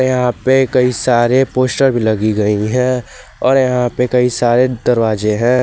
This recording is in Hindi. यहां पे कई सारे पोस्टर लगी गई है और यहां पे कई सारे दरवाजे हैं।